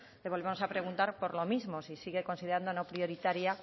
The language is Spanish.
le volvemos a preguntar por lo mismo si sigue considerando no prioritaria